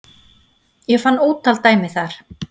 Ég fann ótal dæmi þar